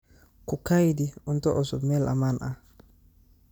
Ku kaydi cunto cusub meel ammaan ah.